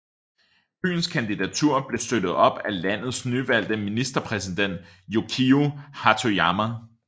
Byens kandidatur blev støttet af landets nyvalgte ministerpræsident Yukio Hatoyama